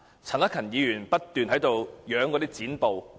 陳克勤議員不斷展示有關剪報。